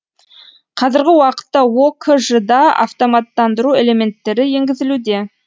қазіргі уақытта окж да автоматтандыру элементтері енгізілуде